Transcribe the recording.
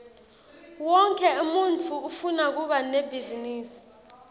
wonkhe umuntfu ufuna kuba nebhizinisi